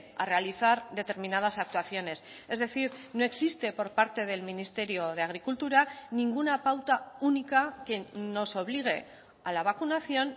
a realizar determinadas actuaciones es decir no existe por parte del ministerio de agricultura ninguna pauta única que nos obligue a la vacunación